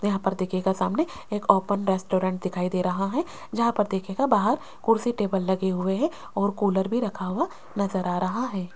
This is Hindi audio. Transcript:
यहां पर देखियेगा सामने एक ओपन रेस्टोरेंट दिखाई दे रहा है जहां पर देखियेगा बाहर कुर्सी टेबल लगे हुए हैं और कूलर भी रखा हुआ नज़र आ रहा है।